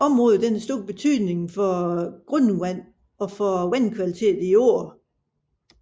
Området har stor betydning for grundvandet og for vandkvaliteten i åerne